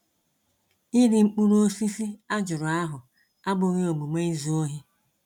iri mkpụrụ osisi a jụrụ ahụ abụghị omume izu ohi.